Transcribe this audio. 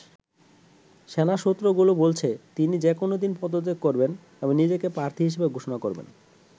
সেনা সূত্রগুলো বলছে, তিনি যেকোনো দিন পদত্যাগ করবেন এবং নিজেকে প্রার্থী হিসেবে ঘোষণা করবেন।